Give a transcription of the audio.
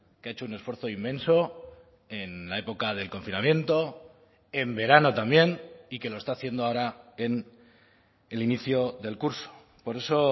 que ha hecho un esfuerzo inmenso en la época del confinamiento en verano también y que lo está haciendo ahora en el inicio del curso por eso